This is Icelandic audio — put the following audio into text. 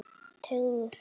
Teygðu þig.